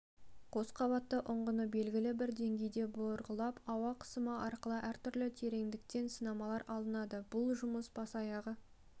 қосқабатты ұңғыны белгілі бір деңгейге бұрғылап ауа қысымы арқылы әртүрлі тереңдіктен сынамалар алынады бұл жұмыс бас-аяғы